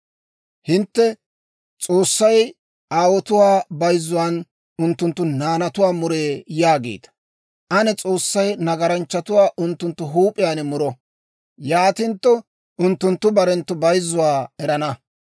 «Hintte, ‹S'oossay aawotuwaa bayzzuwaan unttunttu naanatuwaa muree› yaagiita. Ane S'oossay nagaranchchatuwaa unttunttu huup'iyaan muro! Yaatintto unttunttu barenttu bayzzuwaa erana.